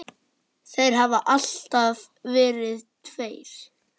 Þeir hafa alltaf verið tveir.